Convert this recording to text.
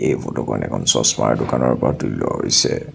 এই ফটো খন এখন চছ্মাৰ দোকানৰ পৰা তুলি লোৱা হৈছে।